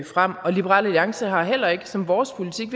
frem og liberal alliance har det heller ikke som vores politik